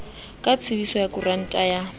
ka tsebiso ya koranta ya